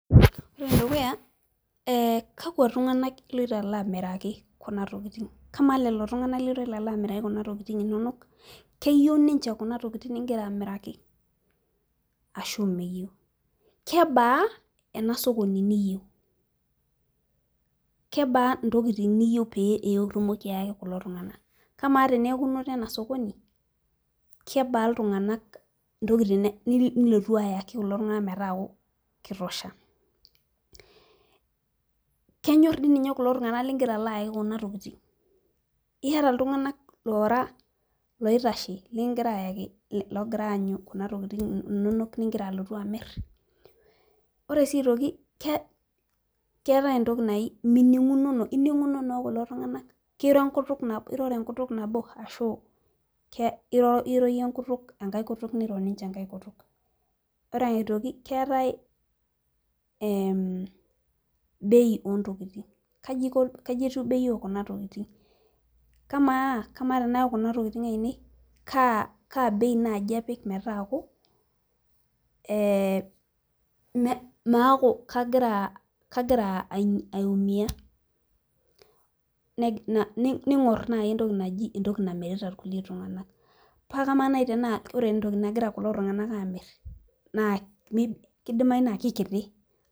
Ore enedukuya eh kakwa tung'anak eh iloito alo amiraki kuna tokiting kamaa lelo tung'anak liloto alo amiraki kuna tokiting inonok keyieu ninche kuna tokiting ningira amiraki ashu meyieu kebaa ena sokoni niyieu kebaa intokiting niyieu pee itumoki ayaki kulo tung'ana kamaa teneeku inoto ena sokoni kebaa iltung'anak intokiting nilotu ayaki kulo tung'ana metaaku kitosha kenyorr dii ninye kulo tung'anak lingira alo ayaki kuna tokiting iyata iltung'anak loora loitashe likingira ayaki logira ayanyu kuna tokitin inonok ningira alotu amirr ore sii aitoki ke keetae entoki nai mining'unono ining'unono okulo tung'anak kiro enkutuk nabo iroro enkutuk nabo ashu ke iro iyie iyie enkutuk enkae kutuk niro ninche enkae kutuk ore aitoki keetae ehm bei ontokiting kaji iko kaji etiu bei okuna tokiting kamaa kamaa tenayau kuna tokiting ainei kaa kaa bei naaji apik metaaku eh me maaku kagira kagira aiumia neg ning'orr naaji entoki naji entoki namirita kulie tung'anak paa kamaa naai tanaa ore entoki nagira kulo tung'anak amirr naa mi kidimai naa kikiti.